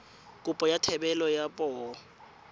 kopo ya thebolo ya poo